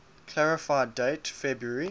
clarify date february